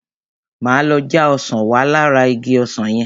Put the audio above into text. Máa lọ já ọsàn wá lára igi ọsàn yẹn.